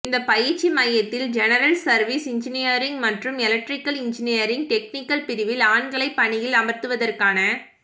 இந்தப் பயிற்சி மையத்தில் ஜெனரல் சர்வீஸ் இன்ஜினியரிங் மற்றும் எலக்ட்ரிகல் இன்ஜினியரிங் டெக்னிகல் பிரிவில் ஆண்களைப் பணியில் அமர்த்துவதற்கான